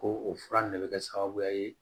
Ko o fura nin ne bɛ kɛ sababuya ye